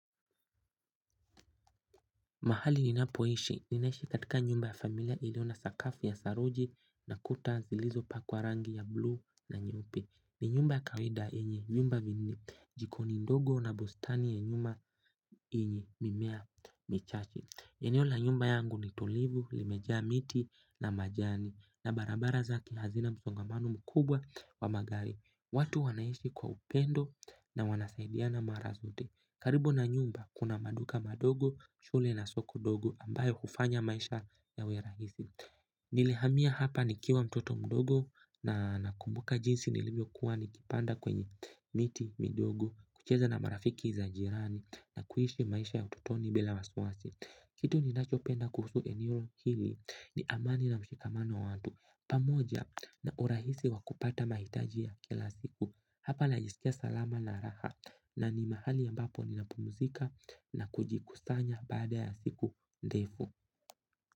Mahali ninapoishi, ninaishi katika nyumba ya familia ilio na sakafu ya saruji na kuta zilizo pakwa rangi ya bluu na nyeupe ni nyumba ya kawaida yenye vyumba viwili jikoni ndogo na bustani ya nyuma yenye mimea michache eneo la nyumba yangu ni tulivu, limejaa miti na majani na barabara zake hazina msongamano mkubwa wa magari. Watu wanaishi kwa upendo na wanasaidiana mara zote. Karibu na nyumba kuna maduka madogo, shule na soko dogo ambayo hufanya maisha ya we rahisi. Nilihamia hapa ni kiwa mtoto mdogo na nakumbuka jinsi nilivyo kuwa nikipanda kwenye miti midogo kucheza na marafiki za jirani na kuishi maisha ya utotoni bila wasiwasi. Kitu ninacho penda kuhusu eneo hili ni amani na mshikamano wa watu pamoja na urahisi wa kupata mahitaji ya kila siku hapa najisikia salama na raha na ni mahali ambapo ninapumzika na kujikusanya baada ya siku ndefu.